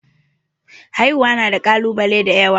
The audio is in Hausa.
Haihuwa na da kalubale da yawa.